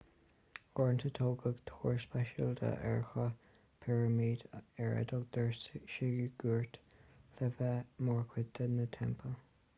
uaireanta tógadh túir speisialta ar chruth pirimide ar a dtugtar siogúráit le bheith mar chuid de na teampaill